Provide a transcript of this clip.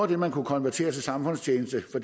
det man kunne konvertere til samfundstjeneste for